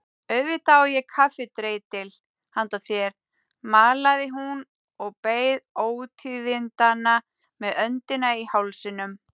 Auðvitað á ég kaffidreitil handa þér malaði hún og beið ótíðindanna með öndina í hálsinum.